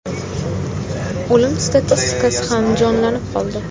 O‘lim statistikasi ham jonlanib qoldi.